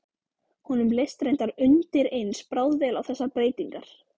Honum leist reyndar undireins bráðvel á þessar breytingar.